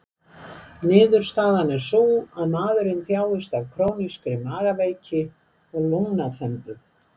Niðurstaðan er sú, að maðurinn þjáist af krónískri magaveiki og lungnaþembu.